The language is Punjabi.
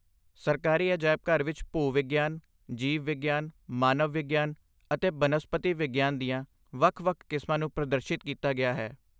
ਸਰਕਾਰੀ ਅਜਾਇਬ ਘਰ ਵਿੱਚ ਭੂ ਵਿਗਿਆਨ, ਜੀਵ ਵਿਗਿਆਨ, ਮਾਨਵ ਵਿਗਿਆਨ ਅਤੇ ਬਨਸਪਤੀ ਵਿਗਿਆਨ ਦੀਆਂ ਵੱਖ ਵੱਖ ਕਿਸਮਾਂ ਨੂੰ ਪ੍ਰਦਰਸ਼ਿਤ ਕੀਤਾ ਗਿਆ ਹੈ